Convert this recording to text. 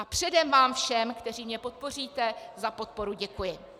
A předem vám všem, kteří mě podpoříte, za podporu děkuji.